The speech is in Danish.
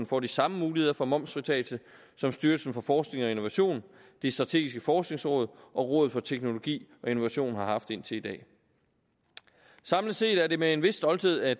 får de samme muligheder for momsfritagelse som styrelsen for forskning og innovation det strategiske forskningsråd og rådet for teknologi og innovation har haft indtil i dag samlet set er det med en vis stolthed at